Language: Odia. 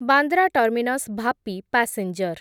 Bandra terminus Vapi passenger